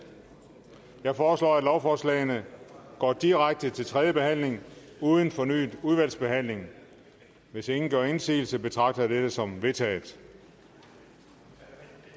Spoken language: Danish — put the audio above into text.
jeg foreslår at lovforslagene går direkte til tredje behandling uden fornyet udvalgsbehandling hvis ingen gør indsigelse betragter jeg dette som vedtaget